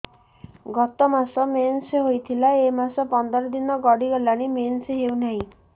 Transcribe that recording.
ଗତ ମାସ ମେନ୍ସ ହେଇଥିଲା ଏ ମାସ ପନ୍ଦର ଦିନ ଗଡିଗଲାଣି ମେନ୍ସ ହେଉନାହିଁ